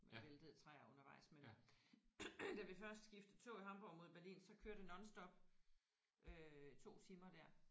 Væltede træer undervejs men da vi først skiftede tog i Hamborg mod Berlin så kører det nonstop øh 2 timer der